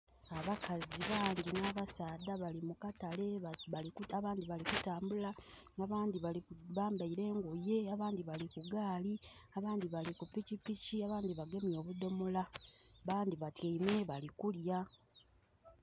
Abakazi bangi nh'abasaadha bali mukatale abandhi bali kutambula abandhi bambaire engoye abandhi bali ku gaali abandhi bali kupikipiiki abandhi bagemye obudhomola abandhi batyaime bali kulya.